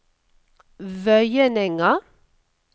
Vøyenenga